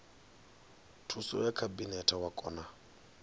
thuso ya khabinete wa kona